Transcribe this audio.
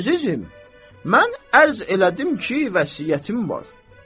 Əzizim, mən ərz elədim ki, vəsiyyətim var.